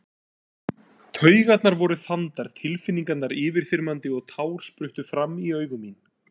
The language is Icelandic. Taugarnar voru þandar, tilfinningarnar yfirþyrmandi og tár spruttu fram í augu mín.